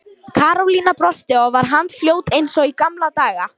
Karólína brosti og var handfljót eins og í gamla daga.